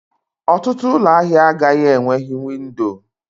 Ọtụtụ ụlọ ahịa agaghị enweghị windo.